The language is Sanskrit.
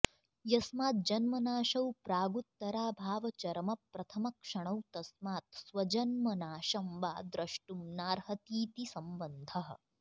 यस्माज्जन्मनाशौ प्रागुत्तराभावचरमप्रथमक्षणौ तस्मात् स्वजन्म नाशं वा द्रष्टुं नार्हतीति सम्बन्धः